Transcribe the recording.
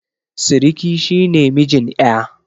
Siriki shi ne mijin ƴa